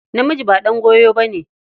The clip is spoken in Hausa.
Namiji ba ɗan goyo ba ne.